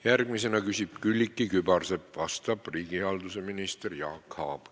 Järgmisena küsib Külliki Kübarsepp, vastab riigihalduse minister Jaak Aab.